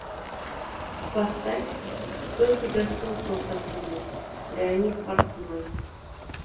поставь кто тебя создал такую леонид портной